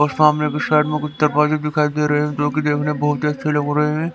और सामने कुछ साइड में कुत्ते पाले दिखाई दे रहे हैं जो कि देखने में बहुत अच्छे लग रहे हैं।